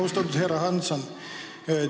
Austatud härra Hansson!